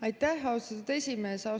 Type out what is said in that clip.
Aitäh, austatud esimees!